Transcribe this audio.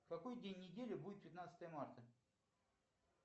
какой день недели будет пятнадцатое марта